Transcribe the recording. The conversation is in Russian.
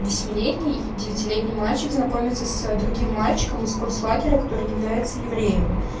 восьмилетний девятилетний мальчик знакомится с ээ другим мальчиком из концлагеря который является евреем